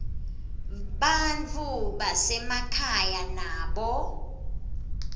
bantfu basemakhaya nabo